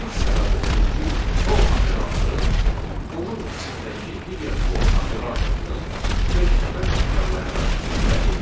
Bunun səbəbi odur ki, for operatoru onun içindəki digər for operatorunu beş dəfə təkrarlayaraq icra edir.